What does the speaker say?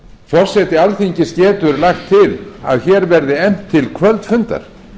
forseti alþingis getur lagt til að hér verði efnt til kvöldfundar